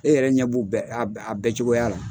E yɛrɛ ɲɛ b'u a bɛɛ cogoya la.